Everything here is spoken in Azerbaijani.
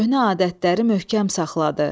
Köhnə adətləri möhkəm saxladı.